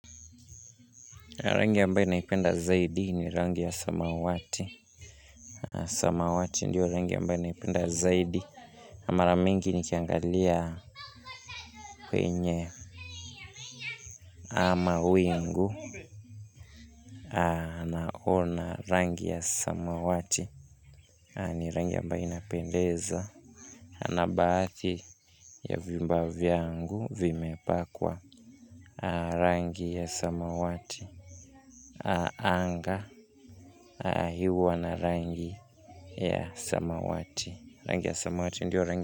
Rangi ambaye naipenda zaidi ni rangi ya samawati. Samawati ndiyo rangi ambaye naipenda zaidi. Mara mingi nikiangalia penye ama wingu naona rangi ya samawati. Ni rangi ambaye inapendeza na baadhi ya vyumba vyangu vimepakwa. Rangi ya samawati. Anga hyo huwa na rangi ya samawati. Rangi ya samawati ndio rangi.